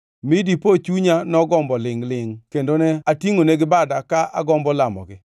mi dipo chunya nogombo lingʼ-lingʼ kendo ne atingʼonegi bada ka agombo lamogi,